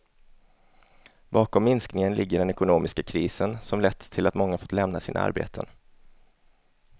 Bakom minskningen ligger den ekonomiska krisen som lett till att många fått lämna sina arbeten.